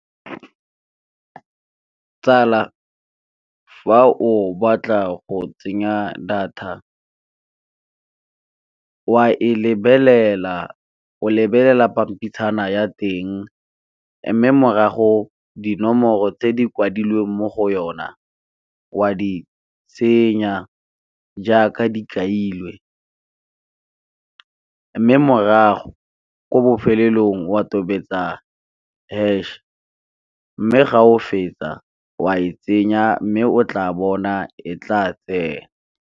Tsala fa o batla go tsenya data o a e lebelela, o lebelela pampitshana ya teng mme morago dinomoro tse di kwadilweng mo go yona wa di tsenya jaaka di kailwe, mme morago ko bofelelong wa tobetsa hash mme ga o fetsa o a e tsenya, mme o tla bona e tla tsena.